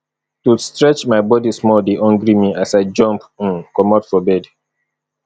to stretch my body small dey hungry me as i jump um comot for bed